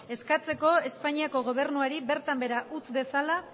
eskatzeko espainaiako gobernuari bertan behera utz dezala